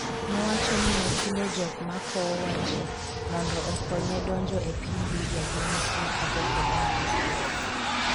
nowacho ni nochulo jok ma kowo wa ji mondo okonye donjo e piny Libya gi Misri kapok odonjo Israel